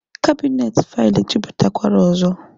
Kabinet faịlụ ejuputakwara ọzọ